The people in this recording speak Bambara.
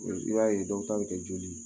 I b'a ye dɔw ta bɛ kɛ joli ye